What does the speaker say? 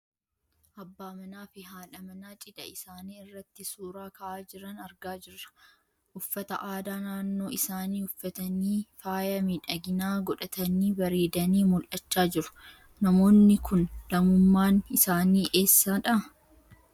Abbaa manaa fi haadha manaa cidha isaanii irratti suuraa ka'aa jiran argaa jirra. Uffata aadaa naannoo isaanii uffatanii, faaya miidhaginaa godhatanii bareedanii mul'achaa jiru. Namoonni kun lammummaan isaanii eessa dha?